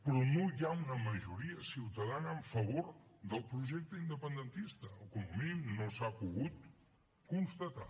però no hi ha una majoria ciutadana en favor del projecte independentista o com a mínim no s’ha pogut constatar